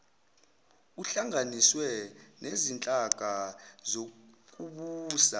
kuhlanganiswe nezinhlaka zokubusa